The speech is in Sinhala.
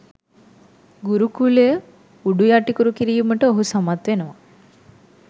ගුරුකුලය උඩුයටිකුරු කිරීමට ඔහු සමත් වෙනවා.